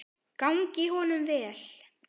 Gangi honum vel.